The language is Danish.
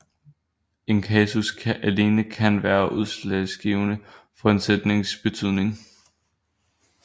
En kasus alene kan være udslagsgivende for en sætnings betydning